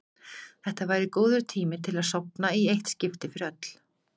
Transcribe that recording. Þetta væri góður tími til að sofna í eitt skipti fyrir öll.